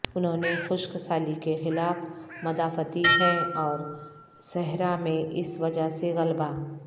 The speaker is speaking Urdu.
انہوں نے خشک سالی کے خلاف مدافعتی ہیں اور صحرا میں اس وجہ سے غلبہ